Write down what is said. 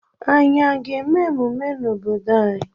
Anyị a ga-eme emume n'obodo anyị?